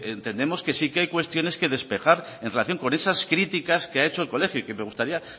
entendemos que sí que hay cuestiones que despejar en relación con esas críticas que ha hecho el colegio y me gustaría